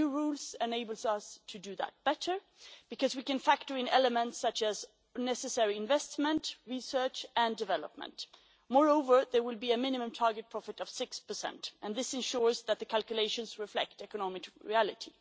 The new rules enable us to do that better because we can factor in elements such as necessary investment, research and development. Moreover, there will be a minimum target profit of 6 and this ensures that the calculations reflect economic reality.